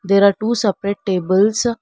there are two separate tables.